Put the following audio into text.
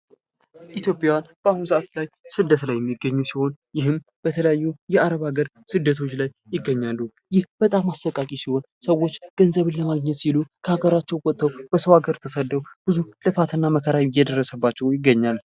ኢትዮጵያዊያን በአሁን ሰዓት ላይ ስደት ላይ የሚገኙ ሲሆን ይህም በተለያዩ የአረብ ሀገር ስደቶች ላይ ይገኛሉ ።ይህም በጣም አሰቃቂ ሲሆን ሰዎችገንዘብን ለማግኘት ሲሉ ከሀገራቸው ወጥተው በሰው ሀገር ተሰደው ብዙ ልፋት እና መከራ እየደረሰባቸው ይገኛል።